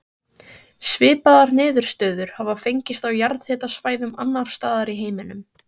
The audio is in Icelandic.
Svipaðar niðurstöður hafa fengist á jarðhitasvæðum annars staðar í heiminum.